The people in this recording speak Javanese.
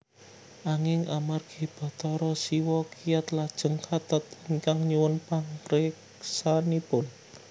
Anging amargi Bathara Siwa kiyat lajeng kathat ingkang nyuwun pangreksanipun